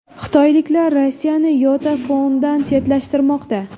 Xitoyliklar Rossiyani YotaPhone’dan chetlashtirmoqda.